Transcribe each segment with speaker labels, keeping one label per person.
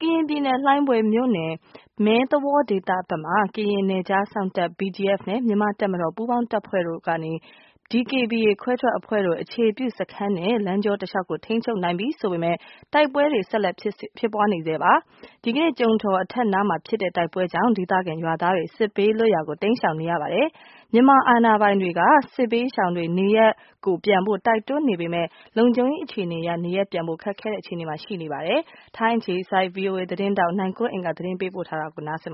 Speaker 1: ကရင်ပြည်နယ် လှိုင်းဘွဲ့မြို့နယ် မဲသဝေါဒေသဘက်မှာ ကရင်နယ်ခြားစောင့်တပ် BGF နဲ့ မြန်မာ့တပ်မတော် ပူးပေါင်းတပ်ဖွဲ့တို့ကနေ ဒီကေဘီအေခွဲထွက်အဖွဲ့ အခြေပြုစခန်းနဲ့ လမ်းကြောတလျှောက်ကို ထိန်းချုပ်နိုင်ပြီလို့ဆိုပေမယ့် တိုက်ပွဲတွေ ဆက်ဖြစ်နေဆဲပါ။ ဒီကနေ့ ကျုံထော်အထက်နားမှာ ဖြစ်တဲ့ တိုက်ပွဲကြောင့် ဒေသခံ ရွာသားတွေ စစ်ဘေးလွတ်ရာကို တိမ်းရှောင်နေရပါတယ်။ စစ်ဘေးရှောင်တွေနေရပ် ရင်းပြန်ဖို့ မြန်မာအာဏာပိုင်တွေက တိုက်တွန်းနေပေမယ့် လုံခြုံရေး အခြေအနေက နေရပ်ပြန်ဖို့ ခက်ခဲတဲ့ အခြေအနေမှာရှိနေပါတယ်။ ထိုင်းအခြေစိုက် VOA သတင်းထောက် နိုင်ကွန်းအိန် သတင်းပေးပို့ထားပါတယ်။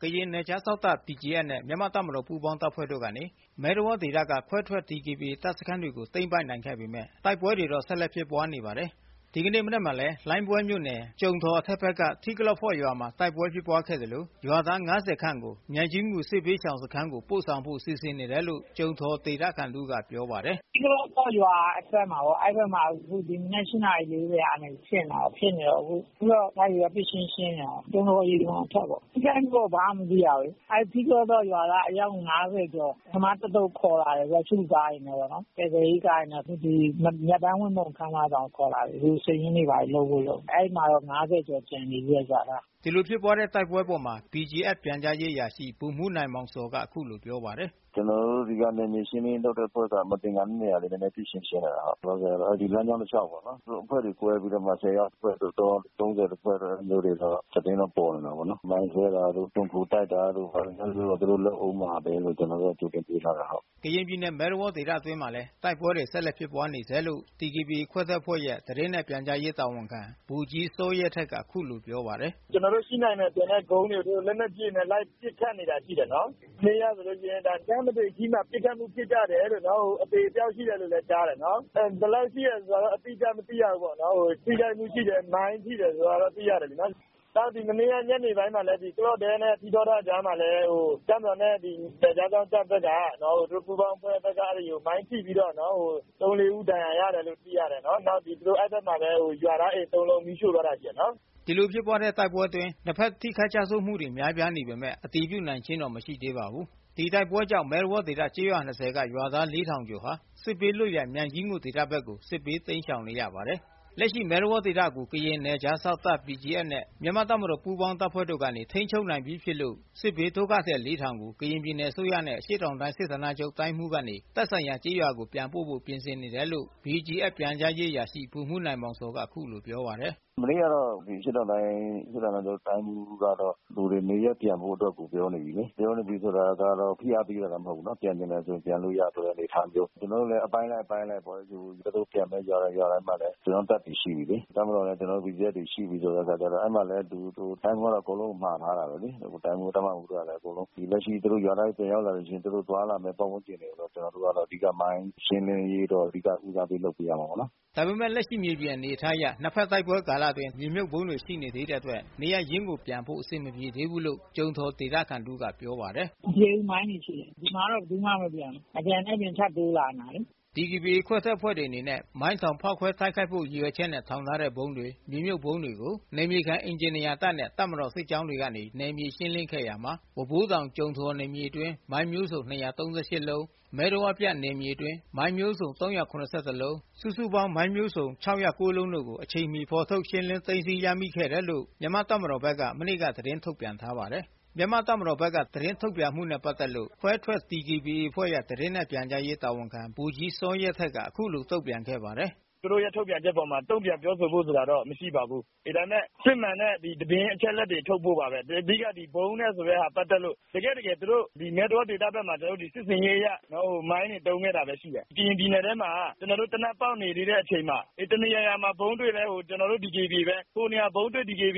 Speaker 1: ကရင်နယ်ခြားစောင့်တပ် BGF နဲ့ မြန်မာ့တပ်မတော်ပူးပေါင်းတပ်ဖွဲ့တို့ကနေ မဲသဝေါဒေသက ခွဲထွက် DKBA တပ်စခန်း တွေကို သိမ်းပိုက်နိုင်ခဲ့ပေမဲ့ တိုက်ပွဲတွေတော့ ဆက်လက်ဖြစ်ပွါးနေပါတယ်။ ဒီကနေ့ မနက်မှာလဲ လှိုင်းဘွဲမြို့နယ် ကျုံထော်အထက်က ထီးကလော့ဖေါ့ရွာမှာ တိုက်ပွဲဖြစ်ပွါးခဲ့သလို ရွာသား(၅၀)ခန့် ကို မြိုင်ကြီးငူစစ်ဘေးရှောင်စခမ်းကို ပို့ဆောင်ဖို့စီစဉ်နေတယ်လို့ ကျုံထော်ဒေသခံတဦးကပြောပါတယ်။ "
Speaker 2: ထီးကလော့ဖော ရွာအထွက်မှာ အဲ့ဒီ့ဘက်မှာ ဒီမနက် ၈နာရီ ၄၀က ဖြစ်နေတာ။ အခုက လိုက်ပစ်ပြီး ရှင်းနေတာပေါ့။ ကျုံထော်အထက်ပေါ့ ထိခိုက်မှုကတော့ ဘာမှ မသိရဘူး။ အဲ့ဒီ့ ထီးကလော့ဖော့ ရွာသားအယောက်(၅၀)ကျော် ပထမအသုတ် ခေါ်လာတယ်။ ကားတွေနဲ့ပေါ့နော်။ ကယ်ဆယ်ရေးကားတွေနဲ့ အခု ခန်းမဆောင်ကို ခေါ်လာတယ်။ လူစာရင်းတွေ ဘာတွေ လုပ်ဖို့ လုပ်နေတယ်။ အဲ့ဒီ့မှာတော့ ငါးဆယ်ကျော် ကျန်နေသေးတယ်။ ရွာသား။
Speaker 1: " ဒီလိုဖြစ်ပွါးတဲ့တိုက်ပွဲအပေါ် BGF ပြန်ကြားရေးအရာရှိ ဗိုလ်မှူးနိုင်မောင်ဇော်က အခုလိုပြောပါတယ်။
Speaker 3: " ကျနော်တို့ ဒီနယ်မြေရှင်းလင်းရေးအဖွဲ့က မသင်္ကာတဲ့နေရာတွေကို နည်းနည်း ပစ်ရှင်းရှင်းနေတာ။ လောလောဆယ်တော့ လမ်းကြောင်းတလျောက်ပေါ့နော်။ သူတို့ အဖွဲ့တွေ ကွဲပြီးတော့မှ ဆယ်ယောက်တဖွဲ့တို့ သုံးဆယ်တို့ သတင်းတော့ ပေါ်နေ တာပဲ။ မိုင်းခွဲ တာတို့၊ ခြုံခို တိုက်တာတို့ သူတို့လုပ်ဦးမှာပဲလို့ ကျနော်တို့က ကြိုတင်တွေးထားတယ်။
Speaker 1: " ကရင်ပြည်နယ် မဲသဝေါဒေသအတွင်းမှာလဲ တိုက်ပွဲတွေဆက်လက်ဖြစ်ပွါးနေဆဲလို့ ခွဲထွက်ဒီကေဘီအေအဖွဲ့ရဲ့ သတင်းနဲ့ပြန်ကြားရေးတာဝန်ခံ ဗိုလ်ကြီး စောရဲထက်က အခုလိုပြောပါတယ်။
Speaker 2: " ကျနော်တို့ရှိနိုင်မယ်ထင်တဲ့ ကုန်းတွေကို သူတို့ လက်နက်ကြီးတွေနဲ့ လိုက်ပစ်ခတ်နေတယ်။ မနေ့ကဆို ပစ်ခတ်မှုဖြစ်ကြတယ် အသေအပျောက် ရှိတယ် လို့လည်း ကြားတယ်။ ဘယ်လောက်ရှိတယ်ဆိုတာကိုတော့ အတိအကျ မသိရဘူးပေါ့နော်။ ထိခိုက်မှုရှိတယ်။ မိုင်းရှိတယ်ဆိုတာကိုတော့ သိရတယ်။ မနေ့က ညနေပိုင်းမှာလည်း တပ်မတော်နဲ့ နယ်ခြားစောင့်တပ်ဘက်က သူတို့ပူးပေါင်းတပ်ဖွဲ့ မိုင်းထိပြီးတော့ ၃၊ ၄ ဦး ဒဏ်ရာရတယ်လို့သိရတယ်။ နောက် အဲ့ဘက်မှာ ရွာသားအိမ်သုံးလုံး မီးရှို့သွား
Speaker 1: တာရှိတယ်။ " ဒီလိုဖြစ်ပွါးတဲ့တိုက်ပွဲတွေအတွင်းနှစ်ဖက်ထိခိုက်ကျဆုံးမှုတွေများပြားနေပေမဲ့ အတည်ပြုနိုင်ခြင်းမရှိသေးပါဘူး။ ဒီတိုက်ပွဲတွေကြောင့် မဲသဝေါဒေသ ကျေးရွာ(၂၀)က ရွာသား(၄၀၀၀)ကျော်ဟာ စစ်ဘေး လွတ်ရာ မြိုင်ကြီးငူဒေသ ဘက်ကို စစ်ဘေးတိမ်းရှောင်နေရပါတယ်။ လက်ရှိမှာ မဲသဝေါဒေသကို ကရင်နယ်ခြားစောင့်တပ်BGFနဲ့မြန်မာ့တပ်မတော် ပူးပေါင်းတပ်ဖွဲ့တို့ကနေ ထိန်းချုပ်နိုင်ပြီး ဖြစ်လို့စစ်ဘေးဒုက္ခသည် လေးထောင်ကို ကရင်ပြည်နယ်အစိုးရနဲ့ အရှေ့တောင်တိုင်းစစ်ဌာနချုပ်တိုင်းမှူးကနေ သက် ဆိုင်ရာကျေးရွာတွေ ကို ပြန်ပို့ပေးဖို့ ပြင်ဆင်နေတယ်လို့ BGF ပြန်ကြားရေးအရာရှိ ဗိုလ်မှူးနိုင်မောင်ဇော်က အခုလို ပြောပါတယ်။ "
Speaker 3: မနေ့ကတော့ အရှေ့တောင်တိုင်းစစ်ဌာနချုပ်တိုင်းမှူးကတော့ လူတွေ နေရပ်ပြန်ဖို့ အတွက်ကို ပြောနေပြီ။ ပြောနေပြီဆိုတာက ဖိအားပေးတာတော့ မဟုတ်ဘူးနော်။ ပြန်ချင်တယ်ဆို ပြန်လို့ရပြီးတော့ အနေအထားမျိုး ကျနော်တို့လည်း အပိုင်းလိုက် အပိုင်းလိုက် ပေါ့ သူတို့ပြန်မယ့် ရွာထဲမှာလည်း ကျနော်တို့ တပ်တွေရှိပြီ။ တပ်မတော်နဲ့ ကျနော်တို့ BGF တွေရှိပြီဆိုတော့ အဲ့မှာ တိုင်းမှူးက အကုန်လုံးကို မှာထားတာပဲလေ။ တိုင်းမှူး တပ်မမှူး အကုန်လုံးကလည်း လက်ရှိသူတို့ရွာသားတွေ ပြန်ရောက်လာလို့ရှိရင် သူတို့သွားလာမယ့် ပတ်ဝန်းကျင်တွေကို ကျနော်တို့က အဓိက မိုင်းရှင်းလင်းရေးကို ဦးစားပေး လုပ်ပေးရမှာပေါ့နော်
Speaker 1: ။" ဒါပေမဲ့ လက်ရှိမြေပြင်အနေအထားအရ နှစ်ဖက်တိုက်ပွဲ ကာလအတွင်းထောင် ထားတဲ့ မြေမြုတ်မိုင်းတွေရှိနေသေးတဲ့ အတွက် နေရပ်ရင်း ကိုပြန်ဖို့ အဆင်မပြေသေးဘူး လို့ ကျုံထော်ဒေသခံတဦးကပြောပါတယ်။ " မပြေဘူး မိုင်းတွေရှိသေးတယ်။ ဒီမှာတော့ ဘယ်သူမှ မပြန်ဘူး။ မပြန်တဲ့အပြင် ထပ်တိုးလာနေတာလေ။" ဒီကေဘီအေခွဲထွက်အဖွဲ့တွေအနေနဲ့မိုင်းထောင်ဖောက်ခွဲတိုက်ခိုက်ဖို့ ရည်ရွယ်ချက်နဲ့ထောင်ထားတဲ့ဗုံးတွေ မြေမြုတ် ဗုံးတွေကိုနယ်မြေခံ အင်ဂျင်နီယာတပ်နဲ့ တပ်မတော်စစ်ကြောင်းတွေကနေ နယ်မြေရှင်းလင်းခဲ့ရာမှာ ဝါးဘိုးတောင်- ကျုံထော်နယ်မြေ အတွင်း မိုင်းမျိုးစုံ ၂၃၈ လုံး၊ မဲသဝေါပြန့် နယ်မြေ အတွင်း မိုင်းမျိုးစုံ ၃၇၁ လုံး၊ စုစုပေါင်း မိုင်းမျိုးစုံ ၆ဝ၉ လုံးတို့ကို အချိန်မီဖော်ထုတ်ရှင်းလင်းသိမ်းဆည်းရမိခဲ့တယ်လို့ မြန်မာ့တပ်မတော်ဘက်က မနေ့က သတင်း ထုတ်ပြန်ထားပါတယ်။ မြန်မာ့တပ်မတော်ဘက်က သတင်းထုတ်ပြန်မှုနဲ့ပက်သက်လို့ ခွဲထွက် ဒီကေဘီအေအဖွဲ့ရဲ့ သတင်းနဲ့ပြန်ကြားရေး တာဝန်ခံ ဗိုလ်ကြီး စောရဲထက်က အခုလိုပြောပါတယ်။
Speaker 2: " သူတို့ရဲ့ပြောဆိုချက်အပေါ် တုန့်ပြန်ပြောဆိုဖို့ဆိုတာတော့ မရှိပါဘူး။ အေး ဒါပေမဲ့ စစ်မှန်တဲ့ သတင်းအချက်အလက်တွေ ထုတ်ဖို့ပါပဲ။ အဓိက ဗုံးနဲ့ပတ်သက်တဲ့ သတင်းပါပဲ။ ဒီမဲသဝေါဒေသဘက်မှာ စစ်ဆင်ရေးအရ မိုင်းတွေ သုံးခဲ့တာပဲရှိတယ်။ ကရင်ပြည်နယ်ထဲမှာ ကျနော်တို့ သေနတ်ဖောက်နေသေးတဲ့ အချိန်မှာ တနေရာရာမှာ ဗုံးတွေ့တိုင်း ကျနော်တို့ DKBA ပဲ ဟိုနေရာဖြစ် DKBA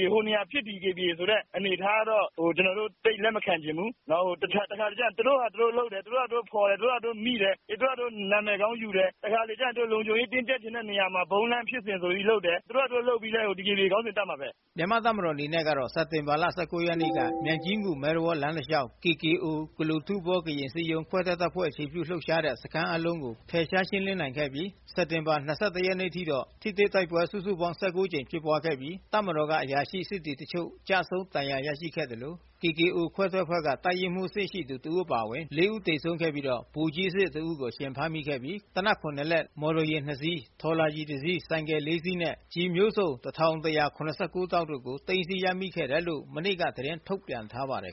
Speaker 2: ဆိုတဲ့အနေအထား ကတော့ ကျနော်တို့ သိပ်လက်မခံချင်ဘူး။ တခါတလေကျတော့ သူတို့ဟာသူတို့လုပ်တယ်။ သူတို့ဟာသူတို့ဖော်တယ်။ သူတို့ဟာသူတို့ မိတယ်။ သူတို့ဟာသူတို့ နာမည်ကောင်းယူတယ်။ သူတို့လုံခြုံရေးယူတဲ့နေရာမှာ ဗုံးလန့်ဖြစ်စဉ်ဆိုပြီး သူတို့ဘာသာ သူတို့လုပ်ပြီး DKBA ခေါင်းစဉ်တပ်မှာပဲ။
Speaker 1: " မြန်မာ့တပ်မတော်အနေနဲ့ကတော့ စက်တင်ဘာ ၁၉ ရက်နေ့မှာ မြိုင်ကြီးငူ- မဲသဝေါ ကားလမ်းတစ်လျှောက် (KKO) ကလိုထူးဘောကရင်အစည်းအရုံး ခွဲထွက်အဖွဲ့ အခြေပြုလှုပ်ရှားတဲ့ စခန်းအားလုံးကို ဖယ်ရှားရှင်းလင်းနိုင်ခဲ့ပြီး စက်တင်ဘာ ၂၁ ရက်အထိ ထိတွေ့တိုက်ပွဲ စုစုပေါင်း ၁၉ ကြိမ် ဖြစ်ပွားခဲ့ပြီး တပ်မတော်မှ အရာရှိ၊ စစ်သည် တချို့ ကျဆုံး၊ ဒဏ်ရာရရှိခဲ့ သကဲ့သို့ (KKO) ခွဲထွက်အဖွဲ့မှ တပ်ရင်းမှူး အဆင့်ရှိသူ တစ်ဦးအပါအဝင် ၄ ဦး သေဆုံးခဲ့ကာ ဗိုလ်ကြီးအဆင့်ရှိသူ တစ်ဦးကို အရှင်ဖမ်းဆီးရမိခဲ့ပြီး လက်နက် ၇ လက်၊ မော်တော်ယာဉ် ၂ စီး၊ ထော်လာဂျီ ၁ စီး၊ ဆိုင်ကယ် ၄ စီးနှင့် ကျည်မျိုးစုံ ၁၁၇၉ တောင့်တို့ကို သိမ်းဆည်းရမိခဲ့တယ်လို့ မနေ့ကသတင်းထုတ်ပြန်ထားပါတယ်။